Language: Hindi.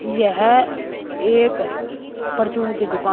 यह एक परचून की दुकान--